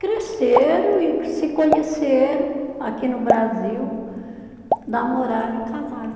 Cresceram e se conheceram aqui no Brasil, namoraram e casaram.